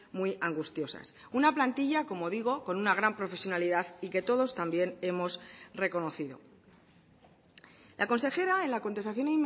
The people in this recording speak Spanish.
muy angustiosas una plantilla como digo con una gran profesionalidad y que todos también hemos reconocido la consejera en la contestación